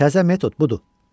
Təzə metod budur.